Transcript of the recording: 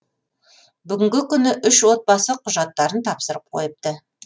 бүгінгі күні үш отбасы құжаттарын тапсырып қойыпты